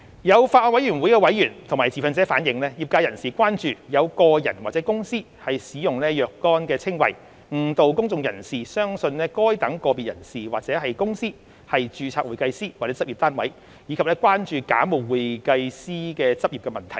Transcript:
有法案委員會委員及持份者反映，業界人士關注有個人或公司使用若干稱謂，誤導公眾人士相信該等個別人士或公司為註冊會計師或執業單位，以及關注假冒會計師執業的問題。